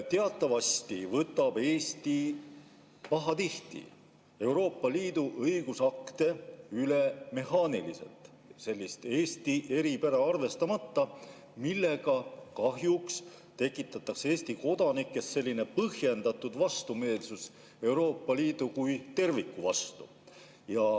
Teatavasti võtab Eesti pahatihti Euroopa Liidu õigusakte üle mehaaniliselt, Eesti eripära arvestamata, millega kahjuks tekitatakse Eesti kodanikes põhjendatud vastumeelsust Euroopa Liidu kui terviku vastu.